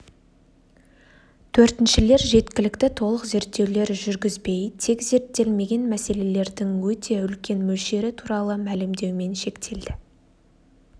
төртіншілер жеткілікті толық зерттеулер жүргізбей тек зерттелмеген мәселелердің өте үлкен мөлшері туралы мәлімдеумен шектелді